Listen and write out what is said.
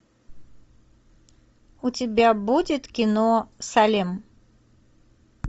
у тебя будет кино салем